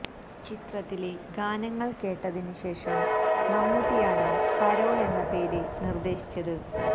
ചിത്രത്തിലെ ഗാനങ്ങള് കേട്ടതിന് ശേഷം മമ്മൂട്ടിയാണ് പരോള് എന്ന പേര് നിര്ദേശിച്ചത്